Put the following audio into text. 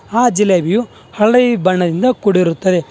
ಆ ಜಿಲೇಬಿಯೂ ಹಳ್ದಿ ಬಣ್ಣದಿಂದ ಕೂಡಿರುತ್ತದೆ.